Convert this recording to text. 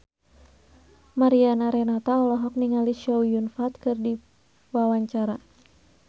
Mariana Renata olohok ningali Chow Yun Fat keur diwawancara